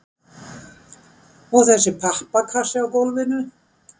og þessi pappakassi á gólfinu?